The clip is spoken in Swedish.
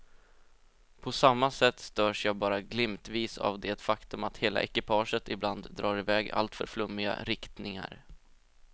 På samma sätt störs jag bara glimtvis av det faktum att hela ekipaget ibland drar i väg i alltför flummiga riktningar.